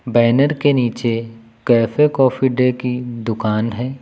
Banner के नीचे cafe coffee day की दुकान है।